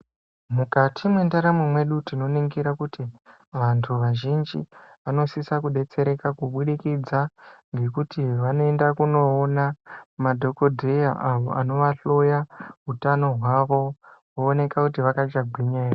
Mukati mwendaramo mwedu tinoningira kuti vantu vazhinji vanosisa kudetsereka kubudikidza ngekuti vanoenda kunoona madhogodheya avo anovahloya utano hwavo, wooneka kuti vakachagwinya ere.